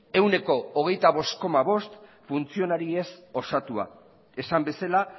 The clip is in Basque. ehuneko hogeita bost koma bost funtzionariez osatua esan bezala